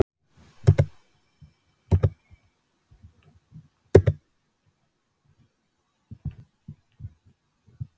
Er ekkert að spá í svoleiðis hluti Hvaða liði myndir þú aldrei spila með?